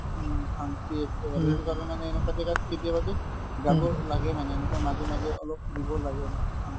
উম, শান্তি একেবাৰে এনেকুৱা জাগাত কেতিয়াবা কি যাব লাগেই মানে এনেকুৱা মাজে মাজে অলপ ফুৰিবও লাগে এনেকুৱা